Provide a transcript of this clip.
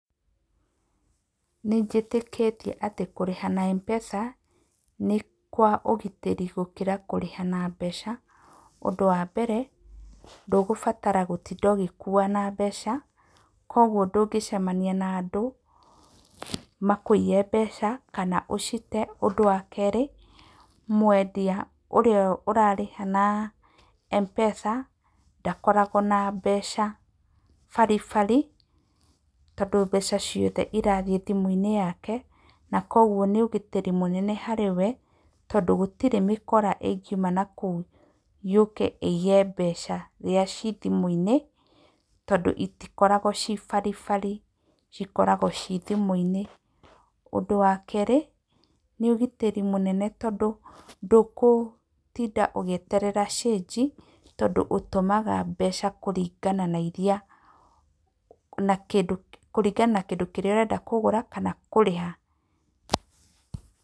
Nĩ njĩtĩkĩtie atĩ kũrĩha na Mpesa nĩ kwa ũgitĩri gũkĩra kũrĩha na mbeca. Ũndũ wa mbere, ndũgũbatara gũtinda ũgĩkua na mbeca, kwoguo ndũngĩcemania na andũ makũiye mbeca kana ũcite. Ũndũ wa kerĩ, mwendia ũrĩa ũrarĩha na Mpesa ndakoragwo na mbeca baribari, tondũ mbeca ciothe irathiĩ thimũ-inĩ yake. Na kwoguo nĩ ũgitĩri mũnene harĩ we, tondũ gũtirĩ mĩkora ĩngiuma na kũu yũke ĩiye mbeca irĩa ciĩ thimũ-inĩ, tondũ itikoragwo cii baribari, cikoragwo ciĩ thimũ-inĩ. Ũndũ wa kerĩ, nĩ ũgitĩri mũnene, tondũ ndũgũtinda ũgĩeterera cĩĩnji tondũ ũtũmaga mbeca kũringana na kĩndũ kĩrĩa ũrenda kũgũra kana kũrĩha.